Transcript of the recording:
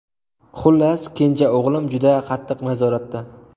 Xullas, kenja o‘g‘lim juda qattiq nazoratda.